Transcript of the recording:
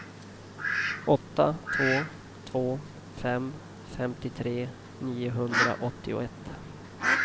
åtta två två fem femtiotre niohundraåttioett